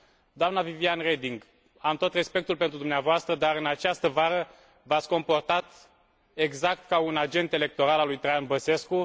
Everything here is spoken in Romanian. Doamnă Viviane Reding, am tot respectul pentru dumneavoastră dar, în această vară, v ați comportat exact ca un agent electoral al lui Traian Băsescu.